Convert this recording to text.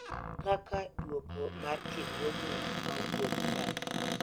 Kaka duoko mar tiegruogni mauok bang'e .